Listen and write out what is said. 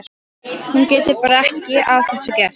Hún getur bara ekki að þessu gert.